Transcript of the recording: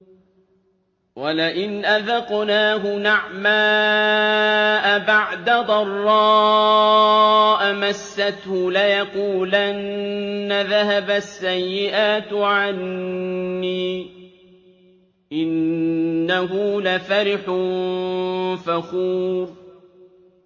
وَلَئِنْ أَذَقْنَاهُ نَعْمَاءَ بَعْدَ ضَرَّاءَ مَسَّتْهُ لَيَقُولَنَّ ذَهَبَ السَّيِّئَاتُ عَنِّي ۚ إِنَّهُ لَفَرِحٌ فَخُورٌ